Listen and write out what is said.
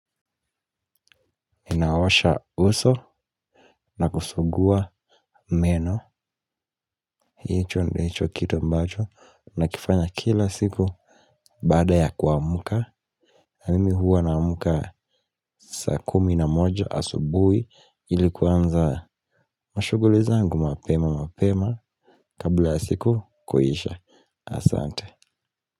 Inaosha uso na kusugua meno. Hicho ndicho kitu ambacho. Nakifanya kila siku. Baada ya kuamka. Mimi huwa naamka saa kumi na moja asubuhi. Ili kuanza mashuguli zangu mapema mapema. Kabla ya siku kuisha. Asante.